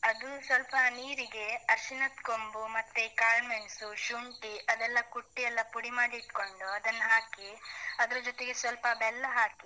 ಅದು ಸ್ವಲ್ಪ ನೀರಿಗೆ, ಅರ್ಶಿಣದ್ ಕೊಂಬು ಮತ್ತೆ ಕಾಳ್ಮೆಣ್ಸು, ಶುಂಠಿ ಅದೆಲ್ಲ ಕುಟ್ಟಿ, ಎಲ್ಲ ಪುಡಿ ಮಾಡಿ ಇಟ್ಕೊಂಡು, ಅದನ್ನ ಹಾಕಿ, ಅದ್ರ ಜೊತೆಗೆ ಸ್ವಲ್ಪ ಬೆಲ್ಲ ಹಾಕಿ